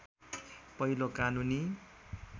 पहिलो कानूनी